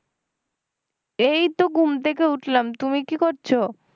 এইতো ঘুম থেকে উঠলাম তুমি কি করছো?